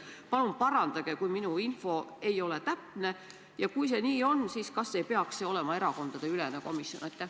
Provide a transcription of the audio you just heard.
Palun parandage, kui minu info ei ole täpne, ja kui see nii on, siis kas ei peaks see olema erakondadeülene komisjon?